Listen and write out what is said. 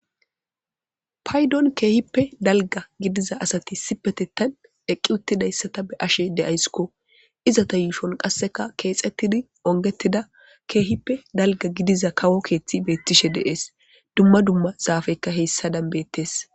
Paydon keehippe dalga gidiza asati sipetetan eqqi uttidayssata be ashe deaysskko iza ta yuushon qasseka keexettidi ongettida keehippe dalga gidiza kawo keeththi beettishe deees dumma dumma zaafekka heyssa danbettes.